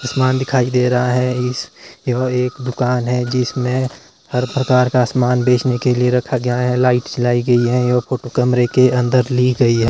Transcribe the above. सामान दिखाई दे रहा है इस यह एक दुकान है जिसमें हर प्रकार का सामान बेचने के लिए रखा गया है लाइट्स जलाई गई है यह फोटो कमरे के अन्दर ली गई है।